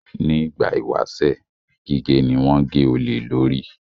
Ní ìgbà ìwáṣẹ̀, gígé ni wọ́n ń gé olè lórí